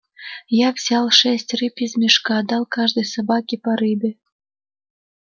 я взял шесть рыб из мешка дал каждой собаке по рыбе